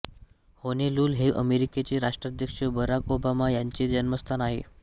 Honolulu हे अमेरिकेचे राष्ट्राध्यक्ष बराक ओबामा ह्यांचे जन्मस्थान आहे